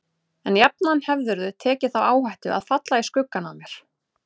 En jafnan hefðirðu tekið þá áhættu að falla í skuggann af mér.